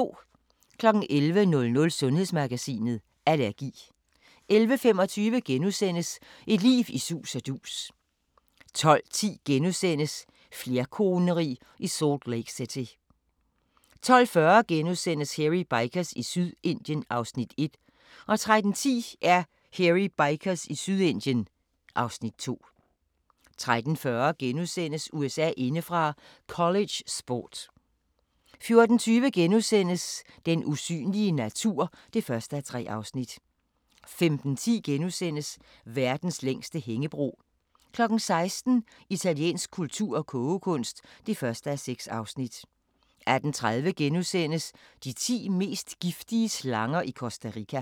11:00: Sundhedsmagasinet: Allergi 11:25: Et liv i sus og dus * 12:10: Flerkoneri i Salt Lake City * 12:40: Hairy Bikers i Sydindien (Afs. 1)* 13:10: Hairy Bikers i Sydindien (Afs. 2) 13:40: USA indefra: College sport * 14:20: Den usynlige natur (1:3)* 15:10: Verdens længste hængebro * 16:00: Italiensk kultur og kogekunst (1:6) 18:30: De ti mest giftige slanger i Costa Rica *